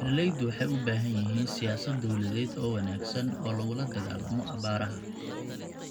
Beeraleydu waxay u baahan yihiin siyaasad dawladeed oo wanaagsan oo lagula dagaallamo abaaraha.